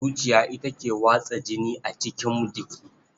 Zuciya ita ke watsa jini a cikin jiki.